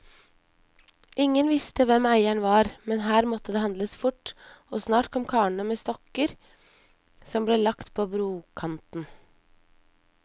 Ingen visste hvem eieren var, men her måtte det handles fort, og snart kom karene med stokker som ble lagt på brokanten.